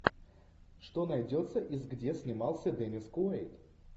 что найдется из где снимался деннис куэйд